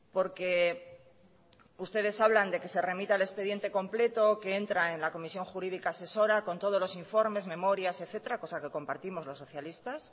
porque ustedes hablan de que se remita el expediente completo que entra en la comisión jurídica asesora con todos los informes memorias etcétera cosa que compartimos los socialistas